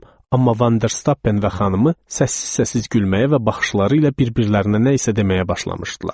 Amma Vanderstappen və xanımı səssiz-səssiz gülməyə və baxışları ilə bir-birlərinə nə isə deməyə başlamışdılar.